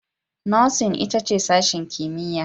Nursing ita ce sashen kimiyya